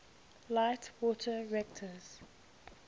light water reactors